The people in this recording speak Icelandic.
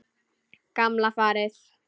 Gamla farið.